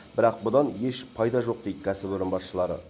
бірақ бұдан еш пайда жоқ дейді кәсіпорын басшылары